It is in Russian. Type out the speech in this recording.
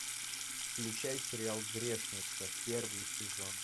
включай сериал грешница первый сезон